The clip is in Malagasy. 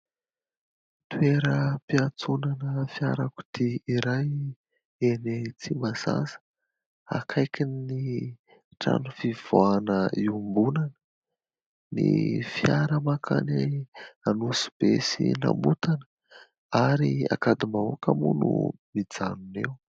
Toeram-piatsonana fiarakodia iray eny Tsimbazaza akaiky ny trano fivoahana iombonana. Ny fiara makany Anosibe sy Namotana ary Ankadim-bahoaka moa no mijanona eo.